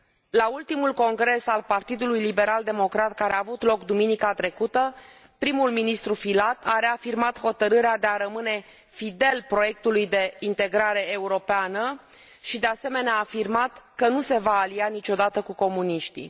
La ultimul Congres al Partidului Liberal Democrat care a avut loc duminica trecută, primul ministru Filat a reafirmat hotărârea de a rămâne fidel proiectului de integrare europeană și, de asemenea, a afirmat că nu se va alia niciodată cu comuniștii.